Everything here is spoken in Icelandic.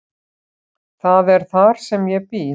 Það er þar sem ég bý.